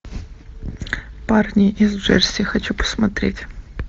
парни из джерси хочу посмотреть